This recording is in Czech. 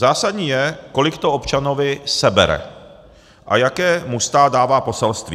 Zásadní je, kolik to občanovi sebere a jaké mu stát dává poselství.